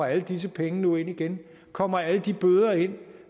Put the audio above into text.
alle disse penge nu kommer ind igen kommer alle de bøder